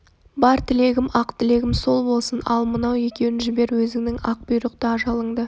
бар тілегм ақ тілегім сол болсын ал мынау екеуін жібер өзіңнің ақ бұйрықты ажалыңды